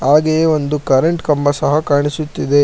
ಹಾಗೆಯೆ ಒಂದು ಕರೆಂಟ್ ಕಂಬ ಸಹ ಕಾಣಿಸುತ್ತಿದೆ.